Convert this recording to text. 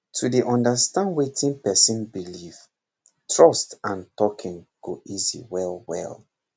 to dey understand wetin person believe trust and talking go easy well well